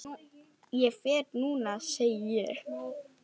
Ég fer núna, segi ég.